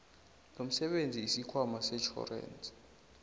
lomsebenzi isikhwama setjhorensi